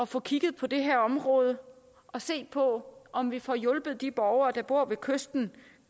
få kigget på det her område og se på om vi får hjulpet de borgere der bor ved kysten